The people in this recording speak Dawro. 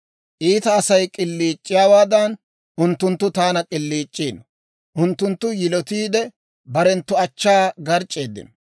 Iita Asay k'iliic'iyaawaadan unttunttu taana k'iliic'iino; unttunttu yilotiide, barenttu achchaa garc'c'eeddino.